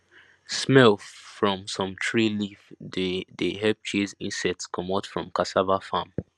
smell from some tree leaf dey dey help chase insects comot from cassava farm